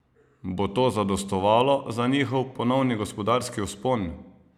Bo to zadostovalo za njihov ponovni gospodarski vzpon?